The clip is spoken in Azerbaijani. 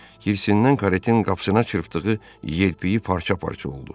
Hirsdən karetin qapısına çırpdığı yelpiyi parça-parça oldu.